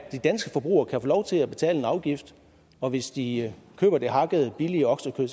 de danske forbrugere kan få lov til at betale en afgift og hvis de køber det hakkede billige oksekød